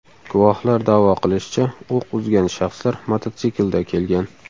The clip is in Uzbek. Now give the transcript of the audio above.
Guvohlar da’vo qilishicha, o‘q uzgan shaxslar mototsiklda kelgan.